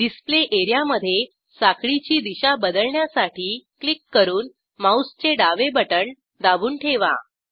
display एरियामधे साखळीची दिशा बदलण्यासाठी क्लिक करून माऊसचे डावे बटण दाबून ठेवा